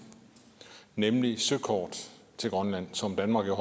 nemlig søkort til grønland som danmark jo